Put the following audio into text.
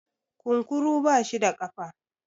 kunkuru bashi da kafa?